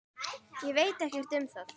Ég veit ekkert um það.